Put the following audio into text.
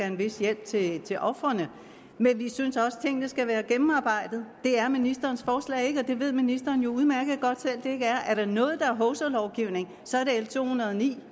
en vis hjælp til til ofrene men vi synes at tingene skal være gennemarbejdede det er ministerens forslag ikke og det ved ministeren udmærket godt selv det ikke er og er der noget der er hovsalovgivning så er det l to hundrede og ni